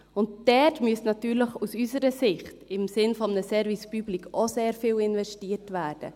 Dort müsste natürlich, unserer Ansicht nach, im Sinne eines Service Public, auch sehr viel investiert werden.